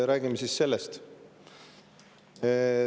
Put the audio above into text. Räägime siis sellest.